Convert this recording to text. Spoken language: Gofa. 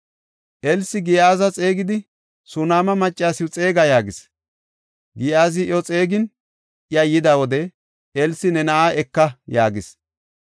Elsi Giyaaza xeegidi, “Sunaama maccasiw xeega” yaagis. Giyaazi iyo xeegin, iya yida wode, Elsi, “Ne na7aa eka” yaagis.